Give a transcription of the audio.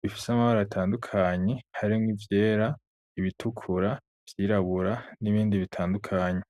bifise amabara, atandukanye; harimwo ivyera, ibitukura, ivyirabura, n'ibindi bitandukanye.